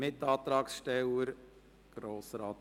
Mitantragssteller Grossrat